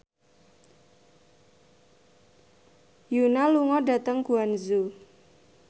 Yoona lunga dhateng Guangzhou